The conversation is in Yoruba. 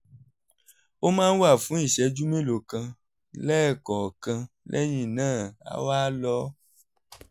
ó máa ń wà fún ìṣẹ́jú mélòó kan lẹ́ẹ̀kọ̀ọ̀kan lẹ́yìn náà á wá lọ